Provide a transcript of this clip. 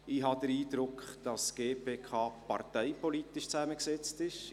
Ich habe den Eindruck, dass die GPK parteipolitisch zusammengesetzt ist.